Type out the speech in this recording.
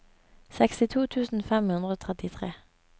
sekstito tusen fem hundre og trettitre